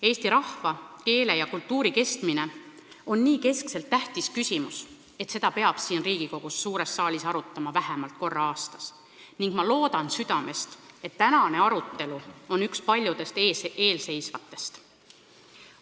Eesti rahva, keele ja kultuuri kestmine on nii keskne ja tähtis küsimus, et seda peab siin Riigikogu suures saalis arutama vähemalt korra aastas ning ma loodan südamest, et tänane arutelu on üks paljudest eelseisvatest.